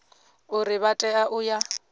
uri vha tea u ya